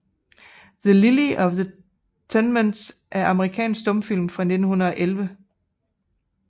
The Lily of the Tenements er en amerikansk stumfilm fra 1911 af D